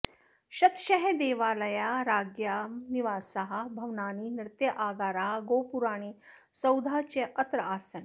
शतशः देवालयाः राज्ञां निवासाः भवनानि नृत्यागाराः गोपुराणि सौधाः च अत्र आसन्